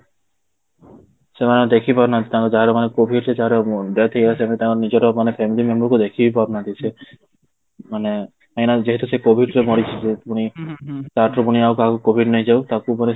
ସେମାନେ ଦେଖି ପାରୁନାହାନ୍ତି ତାଙ୍କ ଯାହାର ମାନେ COVID ରେ ଯାହାର death ହେଇଆସିଲାଣି ଯଦି ତାଙ୍କ ନିଜର ମାନେ family memberକୁ ଦେଖି ବି ପାରୁନାହାନ୍ତି ସେ ମାନେ କାହିଁକି ନା ଯେହେତୁ ସେ COVID ରେ ମରିଥିଲେ ପୁଣି ତା ଠାରୁ ଆଉ କାହାକୁ COVID ନେଇଯାଉ ତାକୁ ପୁରା